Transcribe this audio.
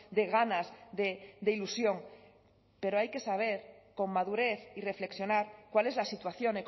de ganas de ilusión pero hay que saber con madurez y reflexionar cuál es la situación